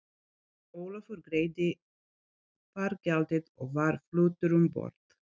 Ólafur greiddi fargjaldið og var fluttur um borð.